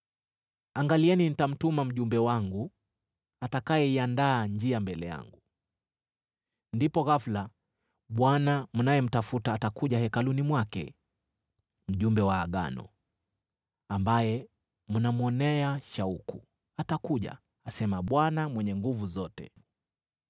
“Angalieni, nitamtuma mjumbe wangu, atakayeiandaa njia mbele yangu. Ndipo ghafula Bwana mnayemtafuta atakuja hekaluni mwake. Mjumbe wa Agano, ambaye mnamwonea shauku, atakuja,” asema Bwana Mwenye Nguvu Zote.